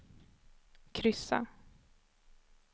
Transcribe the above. kryssa